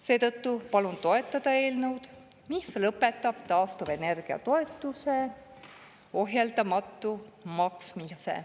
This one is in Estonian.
Seetõttu palun toetada eelnõu, mis lõpetab taastuvenergia toetuse ohjeldamatu maksmise.